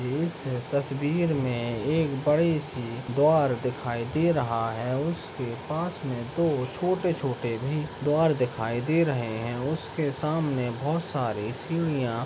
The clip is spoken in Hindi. इस तस्वीर मे एक बड़ी सी द्वार दिखाई दे रहा है उसके पास में दो छोटे-छोटे भी द्वार दिखाई दे रहे है उसके सामने बहुत सारी सीढ़ियाँ --